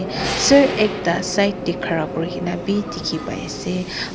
sur ekta side tae khara kurikaena bi dikhipaiase.